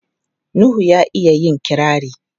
Nuhu ya iya yin kirari.